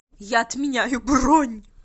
я отменяю бронь